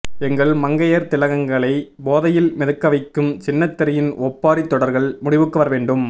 எங்கள் மங்கையர் திலகங்களை போதையில் மிதக்கவைக்கும் சின்னத்திரையின் ஒப்பாரி தொடர்கள் முடிவுக்கு வரவேண்டும்